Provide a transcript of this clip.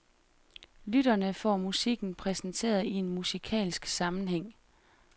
Lytterne får musikken præsenteret i en musikalsk sammenhæng.